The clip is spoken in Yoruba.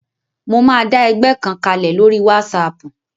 Mo máa dá ẹgbẹ́ kan kalẹ̀ lórí wásaàpù